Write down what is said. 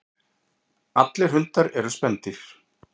Allir hundar eru spendýr.